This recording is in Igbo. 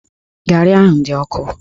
Garị ahụ dị ọkụ